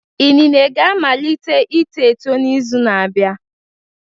Inine ga-amalite ito eto n'izu na-abịa